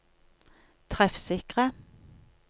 treffsikre